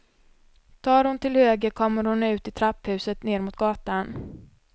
Tar hon till höger kommer hon ut i trapphuset ner mot gatan.